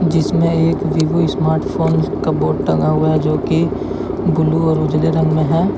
इसमें एक Vivo smartphone का बोर्ड टंगा हुआ है जो की ब्लू और उजले रंग में है।